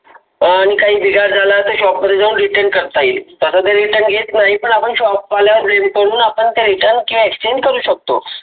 अं न काही बिघाड झाला तर, shop मध्ये जाऊन return करता येईल. तसं तर काही return नाही घेत नाही पण ते shop वाल्यारिव कडून आपण ते return exchange करू शकतो.